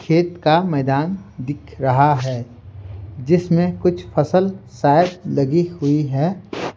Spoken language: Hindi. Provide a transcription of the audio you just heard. खेत का मैदान दिख रहा है जिसमें कुछ फसल शायद लगी हुई हैं।